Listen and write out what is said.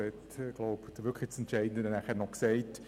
Er hat das Entscheidende erwähnt.